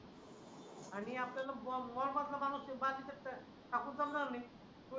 आणि आपल्याला मॉल मधला माणूस बाकीचं टाकून जमणार नाही